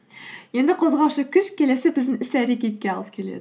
енді қозғаушы күш келесі біздің іс әрекетке алып келеді